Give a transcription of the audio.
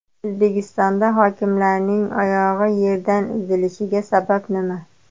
O‘zbekistonda hokimlarning oyog‘i yerdan uzilishiga sabab nima?.